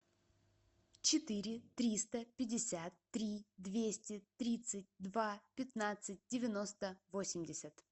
четыре триста пятьдесят три двести тридцать два пятнадцать девяносто восемьдесят